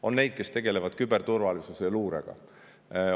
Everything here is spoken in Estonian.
On neid, kes tegelevad küberturvalisuse ja luurega.